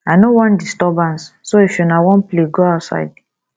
i no wan disturbance so if una wan play go outside